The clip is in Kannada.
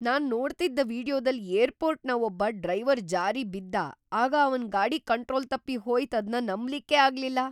ನಾನ್ ನೋಡ್ತಿದ್ದ ವಿಡಿಯೋದಲ್ ಏರ್ಪೋರ್ಟ್ನ ಒಬ್ಬ ಡ್ರೈವರ್ ಜಾರಿ ಬಿದ್ದ ಆಗ ಅವನ್ ಗಾಡಿ ಕಂಟ್ರೋಲ್ ತಪ್ಪಿ ಹೋಯ್ತ್ ಅದ್ನ ನಂಬಲಿಕ್ಕೇ ಆಗ್ಲಿಲ್ಲ.